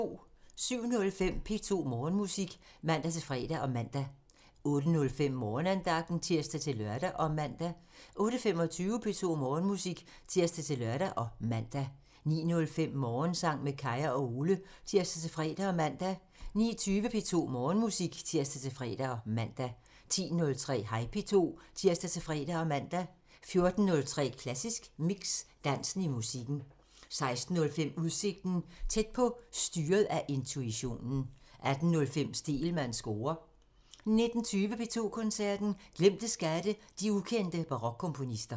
07:05: P2 Morgenmusik (tir-fre og man) 08:05: Morgenandagten (tir-lør og man) 08:25: P2 Morgenmusik (tir-lør og man) 09:05: Morgensang med Kaya og Ole (tir-fre og man) 09:20: P2 Morgenmusik (tir-fre og man) 10:03: Hej P2 (tir-fre og man) 14:03: Klassisk Mix – Dansen i musikken 16:05: Udsigten – Tæt på: styret af intuitionen 18:05: Stegelmanns score (tir) 19:20: P2 Koncerten – Glemte skatte – de ukendte barokkomponister